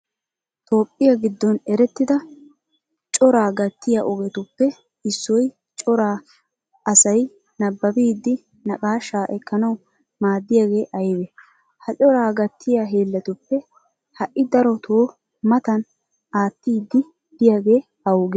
Toophphiya giddon erettida coraa gattiya ogetuppe issoynne cora asay nabbabidi naqaashaa ekkanawu maaddiyagee aybee? Ha coraa gattiya hiillatuppe ha"i darotu matan attiiddi de'iyagee awugee?